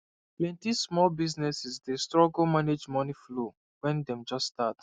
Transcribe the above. plenty small businesses dey struggle manage money flow when dem just start